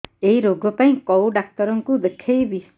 ଏଇ ରୋଗ ପାଇଁ କଉ ଡ଼ାକ୍ତର ଙ୍କୁ ଦେଖେଇବି